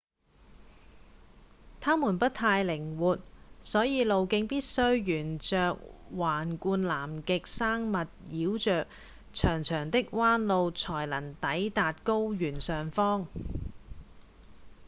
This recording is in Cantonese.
它們不太靈活所以路徑必須沿著橫貫南極山脈繞著長長的彎路才能抵達高原上方